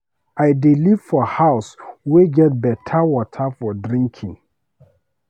I dey live for house wey get beta water for drinking.